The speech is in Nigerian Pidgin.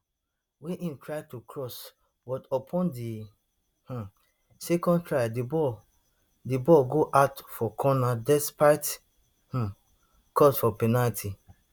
wey im try to cross but upon di um second try di ball di ball go out for corner despite um calls for penalty